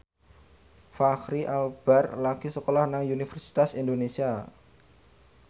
Fachri Albar lagi sekolah nang Universitas Indonesia